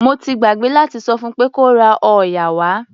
Mo ti gbàgbé láti sọ fún pé kó ra òòyà wá.